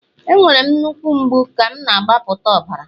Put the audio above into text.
Enwere m nnukwu mgbu ka m na-agbapụta ọbara